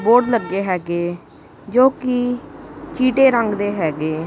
Board ਲੱਗੇ ਹੈਗੇ ਜੋ ਕਿ ਚੀਟੇ ਰੰਗ ਦੇ ਹੈਗੇ।